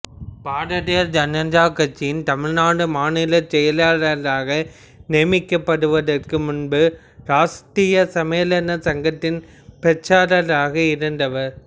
பாரதிய ஜனதா கட்சியின் தமிழ்நாடு மாநில செயலராக நியமிக்கப்படுவதற்கு முன்பு ராஷ்டிரிய சுயம்சேவக் சங்கத்தின் பிரச்சாரகராக இருந்தவர்